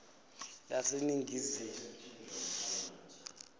laseningizimu